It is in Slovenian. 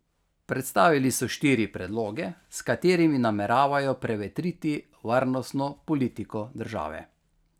Predstavili so štiri predloge, s katerimi nameravajo prevetriti varnostno politiko države.